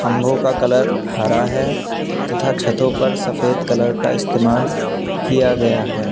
खम्भो का कलर हरा है तथा छतों पर सफेद कलर का इस्तेमाल किया गया है।